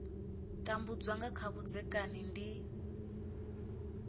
tambudza nga kha vhudzekani ndi